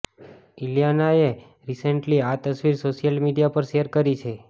ઇલિયાનાએ recently આ તસવીર social media પર શેર કરી છે